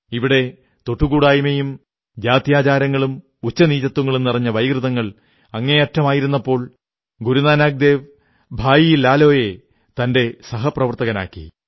ഇവിടെ തൊട്ടുകൂടായ്മയും ജാത്യാചാരങ്ങളും ഉച്ചനീചത്വങ്ങളും നിറഞ്ഞ വൈകൃതങ്ങൾ അങ്ങേയറ്റമായിരുന്നപ്പോൾ ഗുരു നാനക് ദേവ് ഭായി ലാലോ യെ തന്റെ സഹപ്രവർത്തകനാക്കി